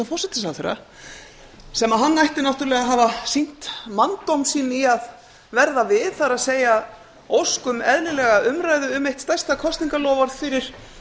forsætisráðherra sem hann ætti að hafa sýnt manndóm sinn í að verða við það er ósk um eðlilega umræðu um eitt stærsta kosningaloforð fyrir